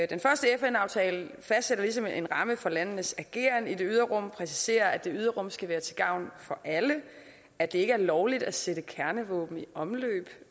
den første fn aftale fastsætter ligesom en ramme for landenes ageren i det ydre rum præciserer at det ydre rum skal være til gavn for alle at det ikke er lovligt at sætte kernevåben i omløb